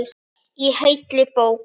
Í heilli bók.